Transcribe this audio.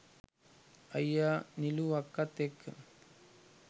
අයියා නිලු අක්කත් එක්ක